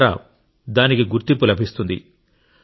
తద్వారా దానికి గుర్తింపు లభిస్తుంది